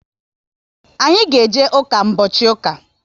Anyị ga eje ụka mbochi ụka